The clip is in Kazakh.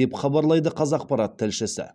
деп хабарлайды қазақпарат тілшісі